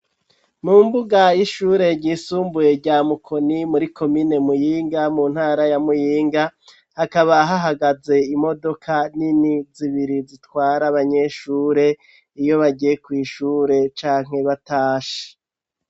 Mu mbuga y'ishure ryisumbuye rya Mukoni muri komine Muyinga mu ntara ya Muyinga hakaba hahagaze imodoka nini zibiri zitwara abanyeshure iyo bagiye kw'ishure canke batashe.